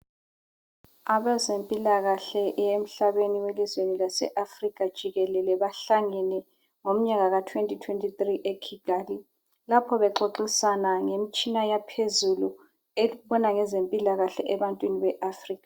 Abezempilakahle yemhlabeni welizweni lase Africa jikelele bahlangene ngomnyaka ka2023 eKigali, lapho bexoxisana ngemtshina yaphezulu ebona ngezempilakahle ebantwini be-Africa.